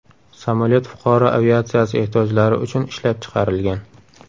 Samolyot fuqaro aviatsiyasi ehtiyojlari uchun ishlab chiqarilgan.